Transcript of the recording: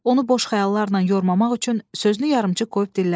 Onu boş xəyallarla yormamaq üçün sözünü yarımçıq qoyub dilləndi.